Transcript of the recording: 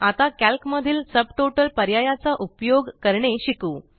आता कॅल्क मधील सबटॉटल पर्यायाचा उपयोग करणे शिकू